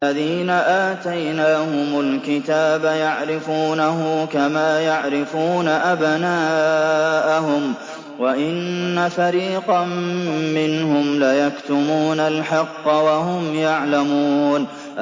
الَّذِينَ آتَيْنَاهُمُ الْكِتَابَ يَعْرِفُونَهُ كَمَا يَعْرِفُونَ أَبْنَاءَهُمْ ۖ وَإِنَّ فَرِيقًا مِّنْهُمْ لَيَكْتُمُونَ الْحَقَّ وَهُمْ يَعْلَمُونَ